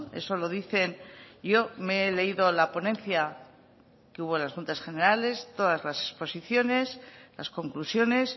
eso lo dicen yo me he leído la ponencia que hubo en las juntas generales todas las exposiciones las conclusiones